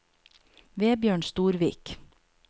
Vebjørn Storvik